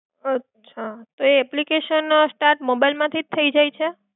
અચ્છા તો application start mobile માંથી જ થઈ જાય છે?